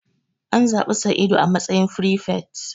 An zabi Sa'idu a matsayin firifet.